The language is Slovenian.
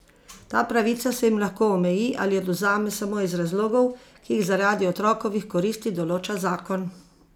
Ta pravica se jim lahko omeji ali odvzame samo iz razlogov, ki jih zaradi otrokovih koristi določa zakon.